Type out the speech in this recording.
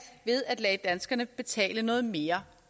ved at lade danskerne betale noget mere